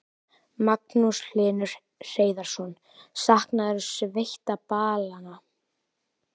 Magnús Hlynur Hreiðarsson: Saknarðu sveitaballanna?